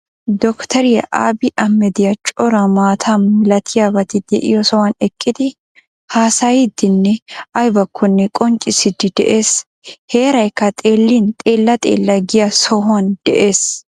Docteriya Abii Amedi cora maata milatiyabati de'iyo sohan eqqidi haasayiiddinne aybakkonne qonccissiiddi de'ees heeraykka xeellin xeella xella giya sohuwan de'ees.